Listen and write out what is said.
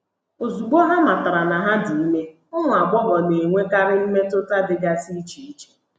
Ozugbo ha matara na ha dị ime, ụmụ agbọghọ na - enwekarị mmetụta dịgasị iche iche.